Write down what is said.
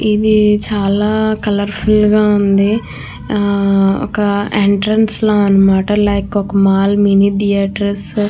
ఇది చాల colourful గ ఉంది ఆ ఒక ఎంట్రన్స్ ల అన్నమాట లైక్ ఒక మాల్ మినీ థియేటర్స్ --